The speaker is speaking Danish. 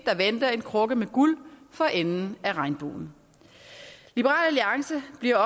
der venter en krukke med guld for enden af regnbuen liberal alliance bliver